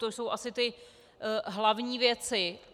To jsou asi ty hlavní věci.